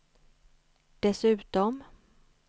dessutom